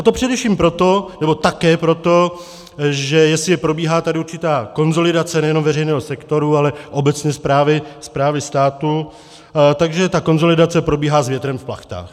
A to především proto, nebo také proto, že jestli probíhá tady určitá konsolidace nejenom veřejného sektoru, ale obecně správy státu, takže ta konsolidace probíhá s větrem v plachtách.